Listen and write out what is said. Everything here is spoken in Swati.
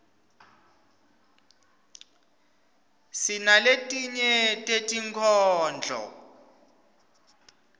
sinaletinye tetinkhondlo